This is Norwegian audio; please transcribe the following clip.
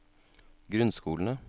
grunnskolene